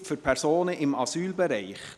Nothilfe für Personen im Asylbereich